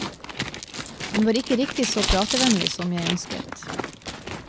Hun var ikke riktig så pratevennlig som jeg ønsket.